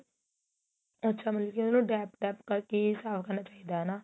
ਅੱਛਾ ਮਤਲਬ ਕੀ ਉਹਨੂੰ dap dap ਕਰਕੇ ਹੀ ਸਾਫ਼ ਕਰਨਾ ਚਾਹੀਦਾ ਹਨਾ